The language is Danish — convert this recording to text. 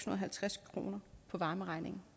og halvtreds kroner på varmeregningen